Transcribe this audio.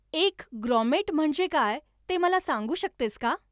एक ग्रॉमेट म्हणजे काय ते मला सांगू शकतेस का